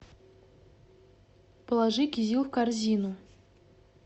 положи кизил в корзину